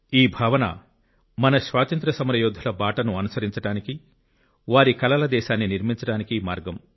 ఈ భావన మన స్వాతంత్య్ర సమరయోధుల బాటను అనుసరించడానికి వారి కలల దేశాన్ని నిర్మించడానికి మార్గం